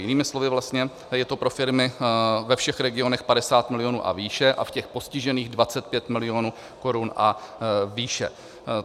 Jinými slovy vlastně, je to pro firmy ve všech regionech 50 milionů a výše a v těch postižených 25 milionů korun a výše.